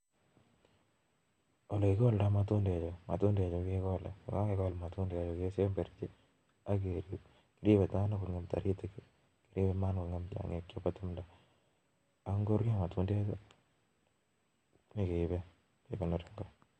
ole kikoldai matundechu matundechuu kekolee, semberchin ak kerip maaam taritik ak tiongiik. Ingorurio kekesee ak kekondor